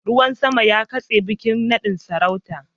Ruwan sama ya katse bikin nadin sarauta